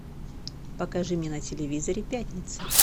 покажи мне на телевизоре пятница